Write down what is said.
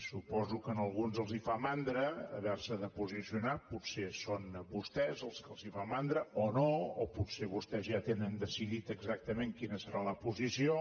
suposo que a alguns els fa mandra haver s’hi de posicionar potser són vostès als que els fa mandra o no o potser vostès ja tenen decidit exactament quina hi serà la posició